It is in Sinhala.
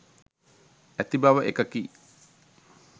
ඇති බව එකකි.